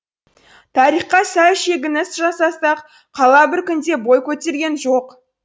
тарихқа сәл шегініс жасасақ қала бір күнде бой көтерген жоқ